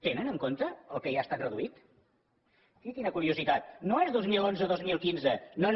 tenen en compte el que ja ha estat reduït miri quina curiositat no és dos mil onze dos mil quinze no no